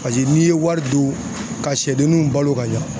Paseke n'i ye wari don ka sɛdenninw balo ka ɲa